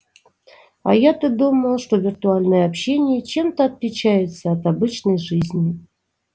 а я-то думала что виртуальное общение чем-то отличается от обычной жизни